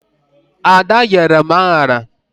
Ada nyere m aṅara.